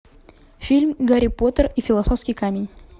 фильм гарри поттер и философский камень